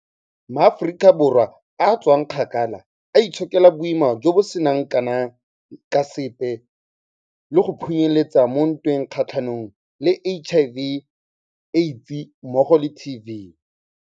MaAforika Borwa a tswakgakala, a itshokela boima jo bo seng kana ka sepe le go phunyeletsa mo ntweng kgatlhanong le HIV, AIDS mmogo le TB.